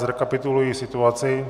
Zrekapituluji situaci.